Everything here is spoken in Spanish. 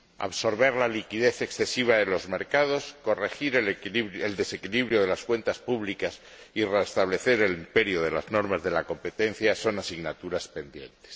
Absorber la liquidez excesiva de los mercados, corregir el desequilibrio de las cuentas públicas y restablecer el imperio de las normas de la competencia son asignaturas pendientes.